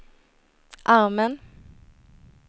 armen